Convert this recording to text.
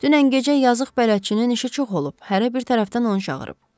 Dünən gecə yazıq bələdçinin işi çox olub, hərə bir tərəfdən onu çağırıb.